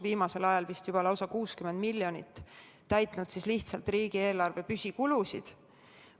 Viimasel ajal on sealt vist juba lausa 60 miljonit läinud selleks, et lihtsalt riigieelarve püsikulusid katta.